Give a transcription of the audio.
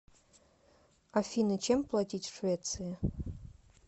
афина чем платить в швеции